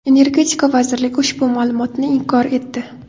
Energetika vazirligi ushbu ma’lumotni inkor etdi.